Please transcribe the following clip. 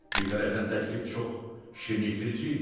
Bir tərəfdən təklif çox şirnikdirici idi.